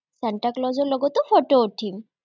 চান্তাক্লজৰ লগতো ফটো উঠিম।